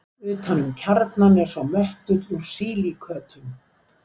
Utan um kjarnann er svo möttull úr sílíkötum.